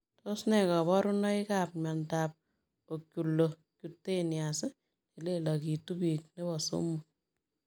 Tos nee kabarunoikap miondoop Oculocuteneous nelelagituu piik nepoo somok?